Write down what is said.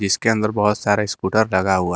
इसके अंदर बहोत सारे स्कूटर लगा हुआ है।